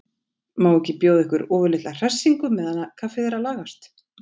Má ekki bjóða yður ofurlitla hressingu meðan kaffið er að lagast?